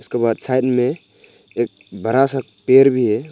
इसके बाद साइड में एक बड़ा सा पेड़ भी है।